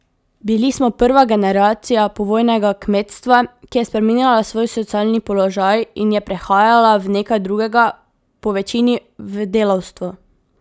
Bili smo prva generacija povojnega kmetstva, ki je spreminjala svoj socialni položaj in je prehajala v nekaj drugega, povečini v delavstvo.